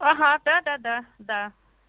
ага да да да да